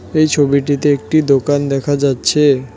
এই ছবিটিতে একটি দোকান দেখা যাচ্ছে।